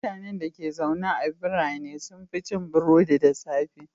Mutanen dake zaune a birane sun fi cin burodi da safe.